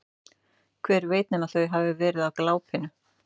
Hver veit nema þau hafi verið á glápinu.